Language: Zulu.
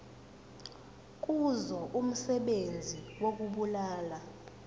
kuzo umsebenzi wokubulala